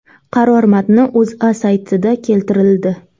Qaror matni O‘zA saytida keltirildi .